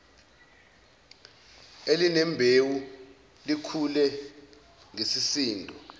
elinembewu likhule ngesisindo